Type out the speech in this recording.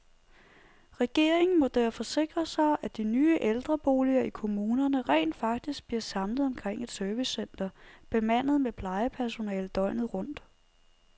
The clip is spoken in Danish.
Regeringen må derfor sikre sig, at de nye ældreboliger i kommunerne rent faktisk bliver samlet omkring et servicecenter bemandet med plejepersonale døgnet rundt.